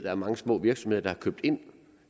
er mange små virksomheder der havde købt ind